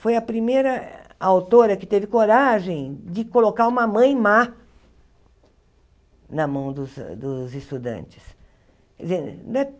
Foi a primeira autora que teve coragem de colocar uma mãe má na mão dos dos estudantes.